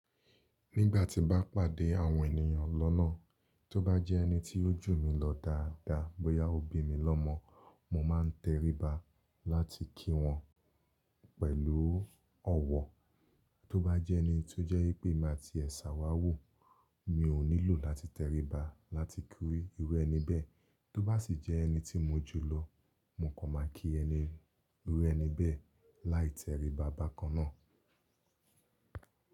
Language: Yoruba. Nígbà tí n bá pàdé àwọn ènìyàn lọ́nà, tó bá jẹ́ ẹni tí ó jù mí lọ dáadáa, bóyá ó bí mi lọ́mọ, mo ma ń teriba láti kí wọ́n pẹ̀lú ọ̀wọ́. Tó bá jẹ́ ẹni tó jẹ́ pé má ti ẹ̀ṣà wá wò, mi ò nílò láti teriba láti kí irú ẹni bẹ́ẹ̀. Tó bá sì jẹ́ ẹni tí mo jù lọ, mo kàn máa kí irú ẹni bẹ́ẹ̀ láì teriba bákan náà.